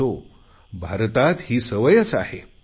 असो भारतात तर ही सवयच आहे